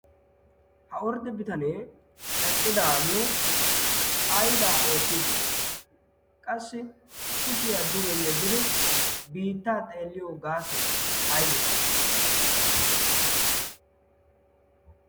ha ordde bitanee eqqidaagee aibaa oottiiddi de7ii qassi kushiyaa dugee yeddidi biittaa xeelliyo gaasoi aibee?